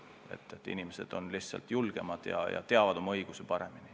Inimesed on lihtsalt julgemad ja teavad oma õigusi paremini.